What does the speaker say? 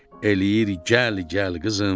eləyir gəl, gəl qızım.